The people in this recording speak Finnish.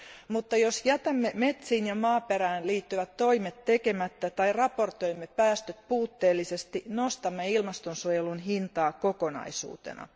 Mutta jos jätämme metsiin ja maaperään liittyvät toimet tekemättä tai raportoimme päästöt puutteellisesti, nostamme ilmaston suojelun hintaa kokonaisuutena.